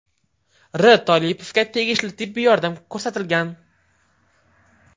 R. Tolipovga tegishli tibbiy yordam ko‘rsatilgan.